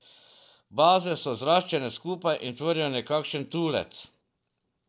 Baze so zraščene skupaj in tvorijo nekakšen tulec.